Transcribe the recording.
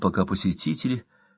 пока посетители